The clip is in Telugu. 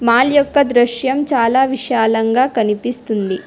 మాల్ యొక్క దృశ్యం చాలా విశాలంగా కనిపిస్తుంది.